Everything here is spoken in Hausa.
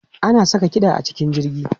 Ana sa kiɗa a cikin jirgi?